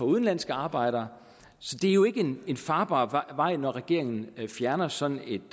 udenlandske arbejdere så det er jo ikke en en farbar vej når regeringen fjerner sådan et